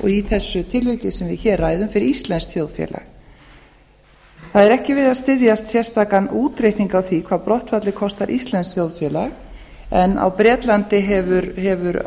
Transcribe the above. og fyrir þessu tilviki sem við hér ræðum fyrir íslenskt þjóðfélag það er ekki við að styðjast útreikning á því hvað brottfallið kostar íslenskt þjóðfélag en á bretlandi hefur